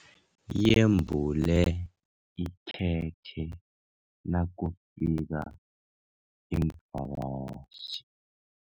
Yembula ikhekhe nakufika iimvakatjhi.